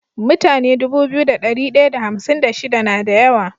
Mutane Dubu biyu da dari daya da hamsin da shida nada yawa